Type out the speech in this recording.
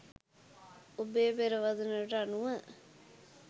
ඔබේ පෙරවදනටම අනුව